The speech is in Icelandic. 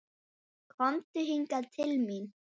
Komdu hingað til mín.